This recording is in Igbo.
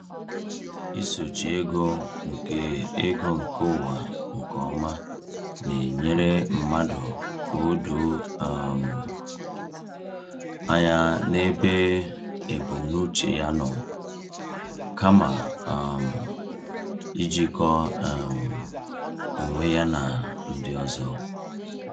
Isochi ego nke ego nke onwe nke ọma na-enyere mmadụ ka o doo um anya n’ebe ebumnuche ya nọ, kama um ijikọ um onwe ya na ndị ọzọ.